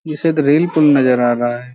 ये नजर आ रहा है।